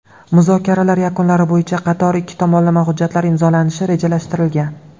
Muzokaralar yakunlari bo‘yicha qator ikki tomonlama hujjatlar imzolanishi rejalashtirilgan.